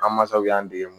An masaw y'an dege